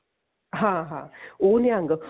ਹਾਂ ਹਾਂ ਉਹ ਨਿਹੰਗ